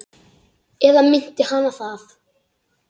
Eða minnti hana það?